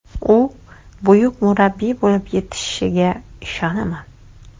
U buyuk murabbiy bo‘lib yetishishiga ishonaman.